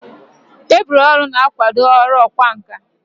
Tebụl ọrụ na-akwado ọrụ ọkwá nkà.